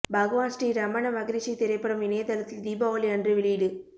பகவான் ஸ்ரீ ரமண மகரிஷி திரைப்படம் இணையத்தளத்தில் தீபாவளி அன்று வெளியீடு